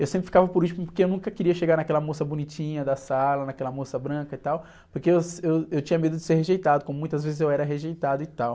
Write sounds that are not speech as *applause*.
Eu sempre ficava por último, porque eu nunca queria chegar naquela moça bonitinha da sala, naquela moça branca e tal, porque eu, *unintelligible* eu, eu tinha medo de ser rejeitado, como muitas vezes eu era rejeitado e tal.